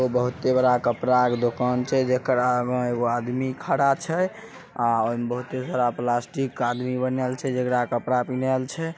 यहाँ बहुत बड़ा कपड़ा के दुकान छै जेकरा आगे मे एगो आदमी खड़ा छै प्लास्टिक छै।